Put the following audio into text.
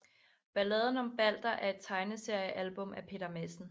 Balladen om Balder er et tegneseriealbum af Peter Madsen